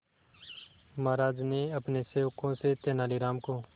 महाराज ने अपने सेवकों से तेनालीराम को